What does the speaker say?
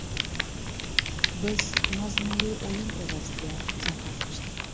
Biz mazmunli o‘yin evaziga zafar quchdik.